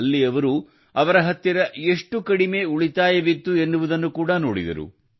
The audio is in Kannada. ಅಲ್ಲಿ ಅವರು ಅವರ ಹತ್ತಿರ ಎಷ್ಟು ಕಡಿಮೆ ಉಳಿತಾಯವಿತ್ತು ಎನ್ನುವುದನ್ನು ಕೂಡ ನೋಡಿದರು